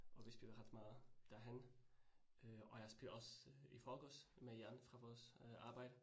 Og vi spillede ret meget derhenne øh og jeg spillede også i forgårs med Jan fra vores øh arbejde